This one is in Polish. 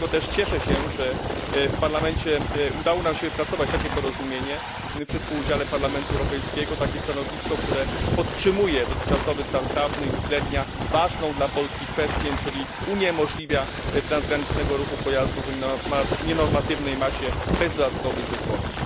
Dlatego też cieszę się, że w Parlamencie udało nam się wypracować takie porozumienie przy współudziale Parlamentu Europejskiego, takie stanowisko, które podtrzymuje dotychczasowy stan prawny i uwzględnia ważną dla Polski kwestię, czyli uniemożliwia transgraniczny ruch pojazdów o nienormatywnej masie bez dodatkowych zezwoleń.